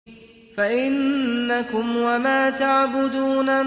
فَإِنَّكُمْ وَمَا تَعْبُدُونَ